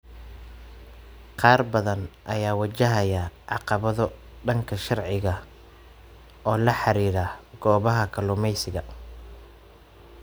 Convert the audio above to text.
Qaar badan ayaa wajahaya caqabado dhanka sharciga ah oo la xiriira goobaha kalluumeysiga.